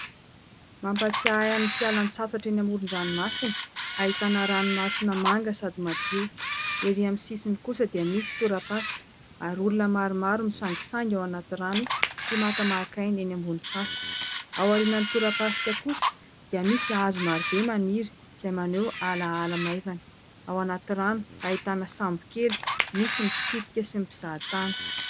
Mampatsiahy ahy ny fialan-tsasatra eny amoron-dranomasina ahitana ranomasina manga sady madio, erỳ aminy sisiny kosa dia misy tora pasika ary olona maromaro misangisangy ao anaty rano sy makamak'aina eny ambonin'ny fasika, ao arianan'ny tora pasika kosa dia misy hazo marobe maniry izay maneho ala ala maivana, ao anaty rano ahitana sambo kely misy ny mpitsirika sy ny mpizahatany.